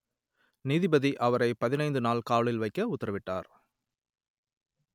நீதிபதி அவரை பதினைந்து நாள் காவலில் வைக்க உத்தரவிட்டார்